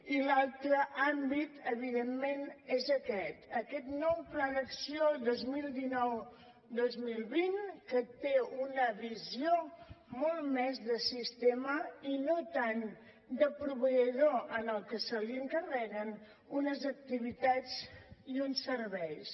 i l’altre àmbit evidentment és aquest aquest nou pla d’acció dos mil dinou dos mil vint que té una visió molt més de sistema i no tant de proveïdor al que se li encarreguen unes activitats i uns serveis